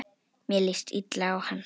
Mér líst illa á hana.